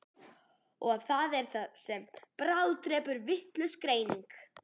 Og það er það sem bráðdrepur, vitlaus greining.